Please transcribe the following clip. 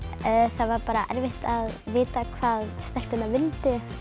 það var bara erfitt að vita hvað stelpurnar vildu við